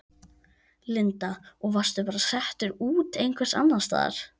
Linda: Og varstu bara settur út einhvers staðar annars staðar?